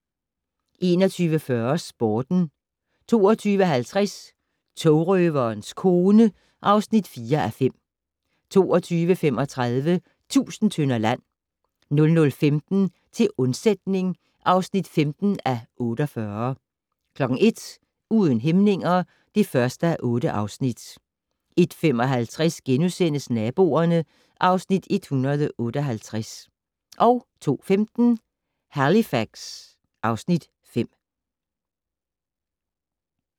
21:40: Sporten 21:50: Togrøverens kone (4:5) 22:35: Tusind tønder land 00:15: Til undsætning (15:48) 01:00: Uden hæmninger (1:8) 01:55: Naboerne (Afs. 158)* 02:15: Halifax (Afs. 5)